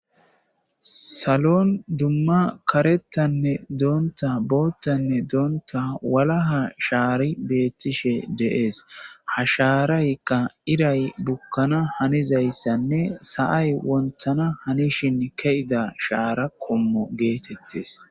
Salon dumma karetanne gidoonta boottanne gidoonta walaha shaari beettishe de'ees ha shaaraykka iray bukkana hanizayssanne sa'ay wontana hanishin ke'ida shaara kommo geetettes